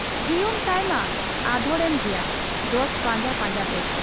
ᱡᱤᱭᱚᱱ ᱛᱟᱭᱢᱟ ᱟᱫᱷᱚᱲ ᱮᱱ ᱜᱮᱭᱟ ᱡᱚᱥ ᱯᱟᱸᱡᱟ ᱯᱟᱸᱡᱟᱛᱮ ᱾